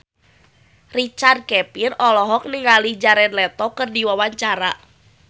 Richard Kevin olohok ningali Jared Leto keur diwawancara